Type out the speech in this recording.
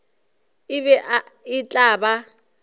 e be e tla ba